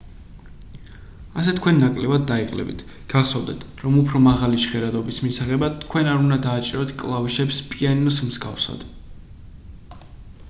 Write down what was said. ასე თქვენ ნაკლებად დაიღლებით გახსოვდეთ რომ უფრო მაღალი ჟღერადობის მისაღებად თქვენ არ უნდა დააჭიროთ კლავიშებს პიანინოს მსგავსად